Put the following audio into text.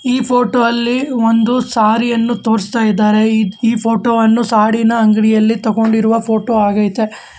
ಈ ಫೋಟೋ ಅಲ್ಲಿ ಒಂದು ಸಾರಿ ಅನ್ನು ತೋರಿಸ್ತಾ ಇದ್ದಾರೆ ಈ ಫೋಟೋ ಅನ್ನು ಸಾಡಿ ನ ಅಂಗಡಿಯಲ್ಲಿ ತೋಗೊಂಡಿರುವ ಫೋಟೋ ಆಗೈತೆ.